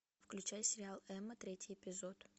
включай сериал эмма третий эпизод